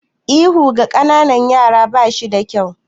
Ihu ga ƙananan yara ba shi da kyau.